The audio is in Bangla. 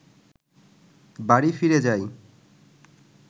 বাড়ি ফিরে যায়